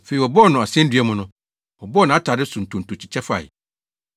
Afei wɔbɔɔ no asennua mu no, wɔbɔɔ nʼatade no so ntonto kyekyɛ fae.